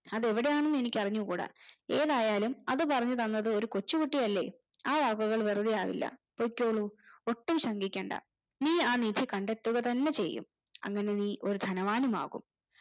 അത് എവിടെ അണെന്നനിക്ക് അറിഞ്ഞുകൂടാ ഏതായാലും അത് പറഞ്ഞു തന്നത് ഒരു കൊച്ചു കുട്ടിയല്ലേ ആ വാക്കുകൾ വെറുതെ ആവില്ല പോയ്‌കൊള്ളൂ ഒട്ടും ശങ്കിക്കണ്ട നീ ആ നിധി കണ്ടെത്തുക തന്നെ ചെയ്യും അങ്ങനെ നീ ഒരു ദനവാനും ആകും